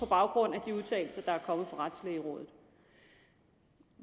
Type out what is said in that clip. baggrund af de udtalelser der er kommet fra retslægerådet